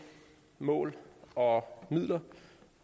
mål og midler